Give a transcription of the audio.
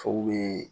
bɛ